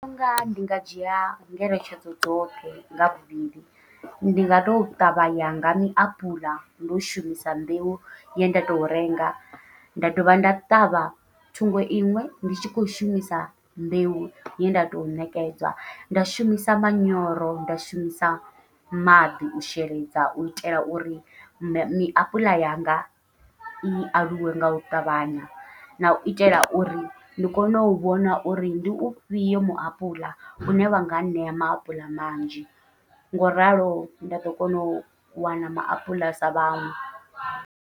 Ndi vhona unga ndi nga dzhia ngeletshedzo dzoṱhe nga mbili, ndi nga to ṱavha yanga miapuḽa ndo shumisa mbeu ye nda tou renga nda dovha nda ṱavha thungo iṅwe ndi tshi khou shumisa mbeu ye nda tou ṋekedzwa, nda shumisa manyoro nda shumisa maḓi u sheledza uitela uri miapuḽa yanga i aluwe ngau ṱavhanya, nau itela uri ndi kone u vhona uri ndi ufhio muapuḽa une wa nga ṋea maapuḽa manzhi ngoralo nda ḓo kona u wana maapuḽa sa vhaṅwe.